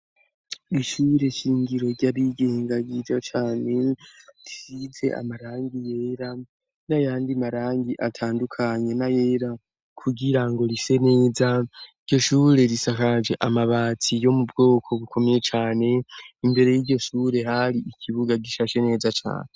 Ishure shingiro ry'abigenga ryiza cane, risize amarangi yera n'ayandi marangi atandukanye n'ayera kugira ngo rise neza, iryo shure risakaje amabati yo mu bwoko bukomeye cane, imbere y'iryo shure hari ikibuga gishashe neza cane.